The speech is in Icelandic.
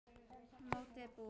Mótið búið?